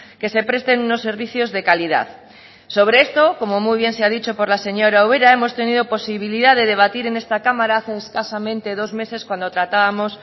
que se presten unos servicios de calidad sobre esto como muy bien se ha dicho por la señora ubera hemos tenido posibilidad de debatir en esta cámara hace escasamente dos meses cuando tratábamos